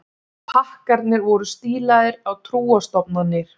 Pakkarnir voru stílaðir á trúarstofnanir